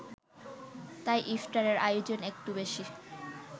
তাই ইফতারের আয়োজন একটু বেশি